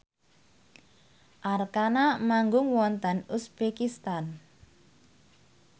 Arkarna manggung wonten uzbekistan